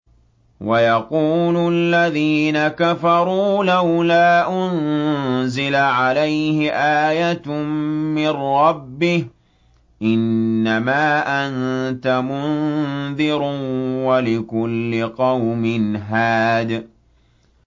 وَيَقُولُ الَّذِينَ كَفَرُوا لَوْلَا أُنزِلَ عَلَيْهِ آيَةٌ مِّن رَّبِّهِ ۗ إِنَّمَا أَنتَ مُنذِرٌ ۖ وَلِكُلِّ قَوْمٍ هَادٍ